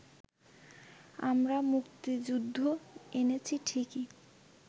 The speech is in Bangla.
আমরা মুক্তিযুদ্ধ এনেছি ঠিকই